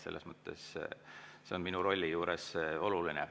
See on minu rolli juures oluline.